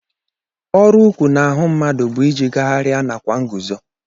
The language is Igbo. Ọrụ ụkwụ n'ahụ mmadụ bụ iji gagharịa nakwa nguzo